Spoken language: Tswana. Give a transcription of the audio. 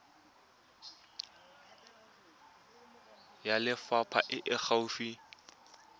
ya lefapha e e gaufi